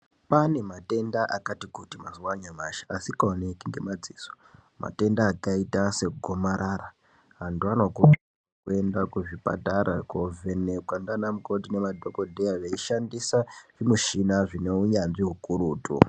Kwane matenda akati kuti mazuwa anyamashi asikaoneki ngemadziso, matenda akaita segomarara. Antu anokurudzirwa kuenda kuzvipatara kovhenekwa ndianamukoti nemadhokodheya veishandisa zvimishina zvine hunyanzvi hukurutu.